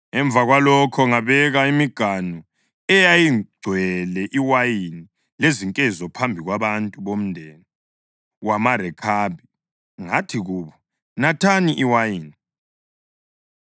Emva kwalokho ngabeka imiganu eyayigcwele iwayini lezinkezo phambi kwabantu bomndeni wamaRekhabi, ngathi kubo, “Nathani iwayini.”